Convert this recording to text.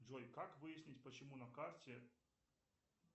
джой как выяснить почему на карте